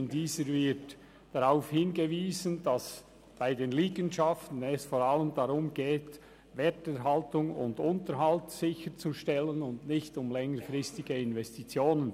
In dieser wird darauf hingewiesen, dass es bei den Liegenschaften vor allem darum geht, Werterhaltung und Unterhalt sicherzustellen, und nicht um längerfristige Investitionen.